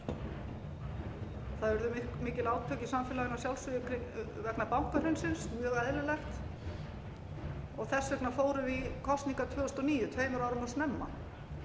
það urðu mikil átök í samfélaginu að sjálfsögðu vegna bankahrunsins mjög eðlilegt og þess vegna fórum við í kosningar tvö þúsund og níu tveimur árum of snemma